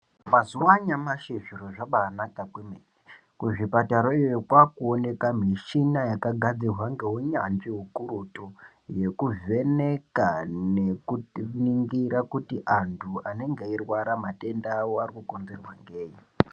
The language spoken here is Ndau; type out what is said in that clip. Mazuva anyamashi zviro zvakabahanaka kuzvipatara kwakuonekwa michina yakagadzirwa ngehunyanzvi hukurutu yekuvheneka nekutiningira kuti antu anenge eri kurwara matenda avo arukonzerwa ngei.